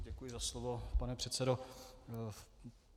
Děkuji za slovo, pane předsedo.